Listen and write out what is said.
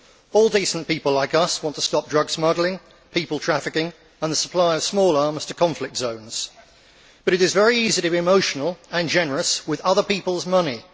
All decent people like us want to stop drug smuggling, people trafficking and the supply of small arms to conflict zones, but it is very easy to be emotional and generous with other people's money.